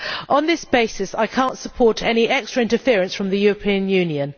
On that basis, I cannot support any extra interference by the European Union.